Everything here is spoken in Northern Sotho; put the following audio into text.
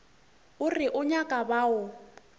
o re o nyaka bao